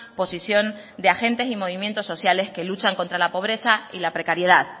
posición de agentes y movimientos sociales que luchan contra la pobreza y la precariedad